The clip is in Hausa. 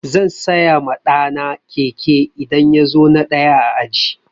Zan saya ma ɗa na keke idan ya zo na ɗaya a aji.